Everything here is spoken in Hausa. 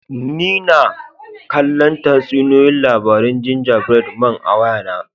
N'na kalla tatsuniyoyi labari'n ginja bread man a'waya na.